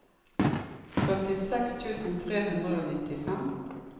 førtiseks tusen tre hundre og nittifem